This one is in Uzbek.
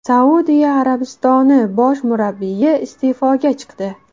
Saudiya Arabistoni bosh murabbiyi iste’foga chiqdi.